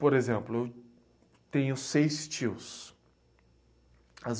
Por exemplo, eu tenho seis tios. As